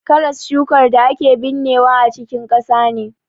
Karas shukar da ake binnewa a cikin ƙasa ne.